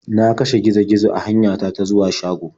Na kashe gizo -gizo a hanyata ta zuwa shago.